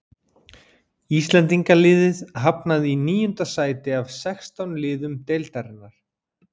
Íslendingaliðið hafnaði í níunda sæti af sextán liðum deildarinnar.